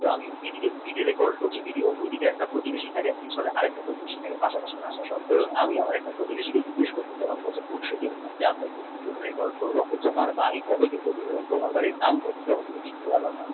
দাম এদিকে যদি record করছি এদিকে একটা প্রতিবেশী থাকে ওদিকে আরেকটিএকটা প্রতিবেশী থাকে পাশাপাশি আমি আমার একটা প্রতিবেশীকে জিজ্ঞেশ করলাম তোমার বাড়ি কত দিন ধরে আছে তোমার বাড়ির দাম কতো